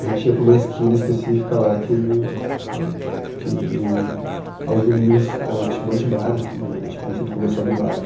A gente ia para uma esquina específica lá que que, aos domingos ãh tinha um monte de bar, assim né era tipo um centro comercial do bairro.